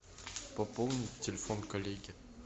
пополнить телефон коллеги